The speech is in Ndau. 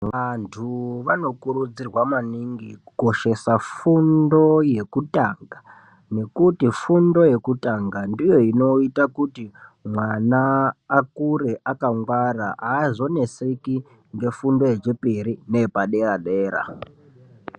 Vantu vanokurudzirwa maningi kukoshesa fundo yekutanga nekuti fundo yekutanga ndiyo inoita kuti mwana akure akangwara aazoneseki ngefundo yechipiri neye padera dera.